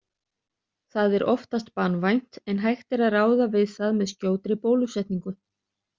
Það er oftast banvænt en hægt að ráða við það með skjótri bólusetningu.